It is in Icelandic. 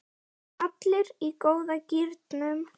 Allir í góða gírnum.